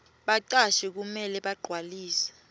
bacashi kumele bagcwalise